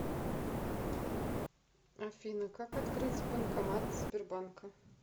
афина как открыть банкомат сбербанка